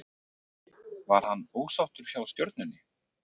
Var hann ósáttur hjá Stjörnunni?